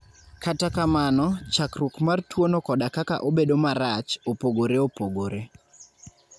Kata kamano, chakruok mar tuwono koda kaka obedo marach, opogore opogore.